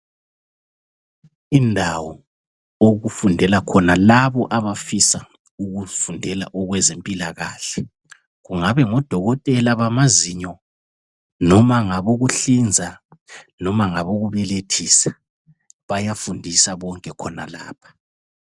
Indawo okufundela khona laba abafisa ukufundela okwezempilakahle kungabe ngudokotela bamazinyo noma ngabokuhlinza noma ngabokubelethisa bayafundisa bonke khonalapha.